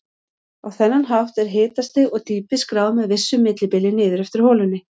Á þennan hátt er hitastig og dýpi skráð með vissu millibili niður eftir holunni.